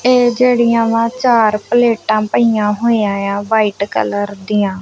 ਇਹ ਜਿਹੜੀਆਂ ਵਾ ਚਾਰ ਪਲੇਟਾਂ ਪਈਆਂ ਹੋਈਆਂ ਏ ਆ ਵਾਈਟ ਕਲਰ ਦੀਆਂ।